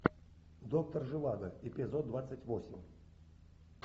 доктор живаго эпизод двадцать восемь